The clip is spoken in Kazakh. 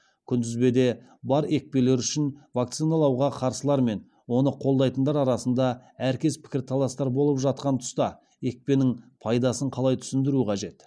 күнтізбеде бар екпелер үшін вакциналауға қарсылар мен оны қолдайтындар арасында әркез пікірталастар болып жатқан тұста екпенің пайдасын қалай түсіндіру қажет